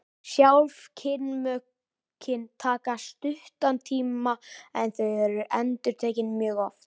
Sjálf kynmökin taka stuttan tíma en þau eru endurtekin mjög oft.